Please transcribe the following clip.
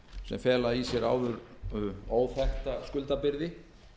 sem fela í sér áður óþekkta skuldabyrði